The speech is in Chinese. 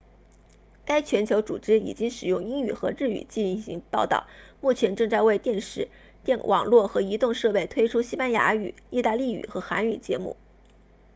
该全球组织已经使用英语和日语进行报道目前正在为电视网络和移动设备推出西班牙语意大利语和韩语节目